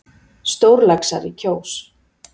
Stórlaxar í Kjós